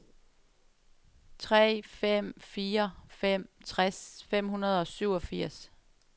tre fem fire fem tres fem hundrede og syvogfirs